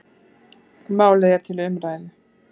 Málið er til umræðu.